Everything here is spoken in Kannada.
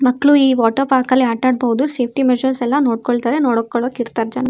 ಮಕ್ಳು ಈ ವಾಟರ್ ಪಾರ್ಕ್ ಅಲ್ಲಿ ಆಟ ಆಡ್ಬಹುದು ಸೇಫ್ಟಿ ಮೆಸರ್ಸ್ ಎಲ್ಲ ನೋಡ್ಕೋತಾರೆ ನೋಡ್ಕೊಳ್ಳೋಕೆ ಇರ್ತಾರೆ ಜನ.